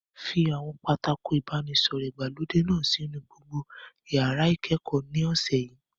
Fi àwọn pátákó ìbánisọ̀rọ̀ ìgbàlódé náà sínú gbogbo yàrá ìkẹ́kọ̀ọ́ ní ọ̀sẹ̀ yìí!